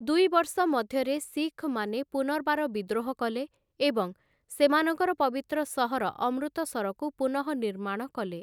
ଦୁଇ ବର୍ଷ ମଧ୍ୟରେ ଶିଖମାନେ ପୁନର୍ବାର ବିଦ୍ରୋହ କଲେ, ଏବଂ ସେମାନଙ୍କର ପବିତ୍ର ସହର ଅମୃତସରକୁ ପୁନଃନିର୍ମାଣ କଲେ ।